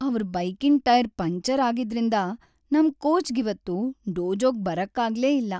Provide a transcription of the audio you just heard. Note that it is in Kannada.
ಅವ್ರ್ ಬೈಕಿನ್ ಟೈರ್ ಪಂಕ್ಚರ್‌ ಆಗಿದ್ರಿಂದ ನಮ್ ಕೋಚ್‌ಗಿವತ್ತು ಡೋಜೋಗ್‌ ಬರಕ್ಕಾಗ್ಲೇ ಇಲ್ಲ.